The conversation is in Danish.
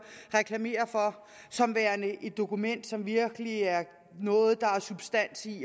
reklamere for som værende et dokument som virkelig er noget der er substans i